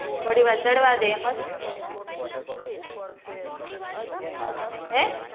થોડી વાર ચડવા દે એમજ